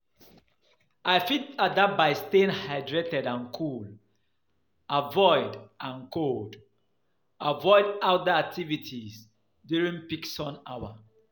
I fit adapt by staying hydrated and cool, avoid outdoor activities during peak sun hour.